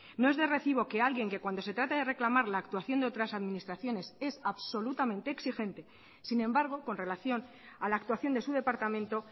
no es de recibo que alguien que cuando se trata de reclamar la actuación de otras administraciones es absolutamente exigente sin embargo con relación a la actuación de su departamento